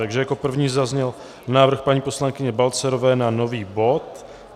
Takže jako první zazněl návrh paní poslankyně Balcerové na nový bod.